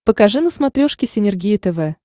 покажи на смотрешке синергия тв